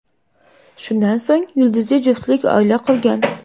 Shundan so‘ng yulduzli juftlik oila qurgan.